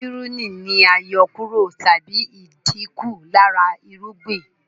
Pírùnì ni àyọkúrọ̀ tàbí ìdínkù lára irúgbìn